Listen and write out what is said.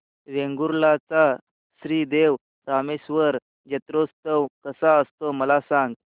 वेंगुर्ल्या चा श्री देव रामेश्वर जत्रौत्सव कसा असतो मला सांग